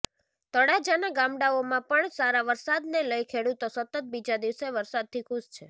તળાજાના ગામડાઓમાં પણ સારા વરસાદ ને લઈ ખેડૂતો સતત બીજા દિવસે વરસાદથી ખુશ છે